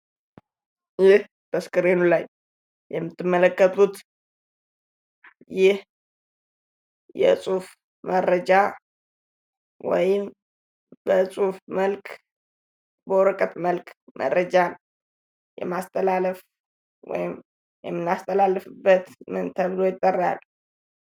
ይህ በስክሪኑ ላይ የምትመለከቱት ይህ የፅሁፍ መረጃ ወይም በፅሁፍ መልክ በወረቀት መልክ የማስተላለፍ የምናስተላልፍበት ምን ተብሎ ይጠራል?